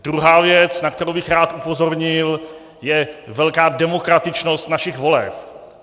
Druhá věc, na kterou bych rád upozornil, je velká demokratičnost našich voleb.